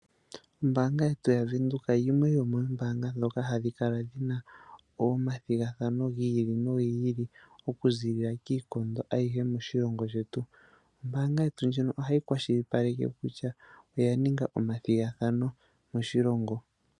Ombaanga yetu ya venduka yimwe yomoo mbaanga ndhoka hadhi kala dhina oma thigathano giili nogiili, okuziilila kiikondo ayihe moshilongo shetu. Ombaanga yetu ndjono ohayi kwashilipaleke kutya, oya ninga oma thigathano moshilongo.